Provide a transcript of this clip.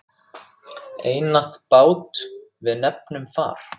Einatt bát við nefnum far.